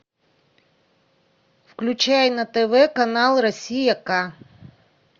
включай на тв канал россия ка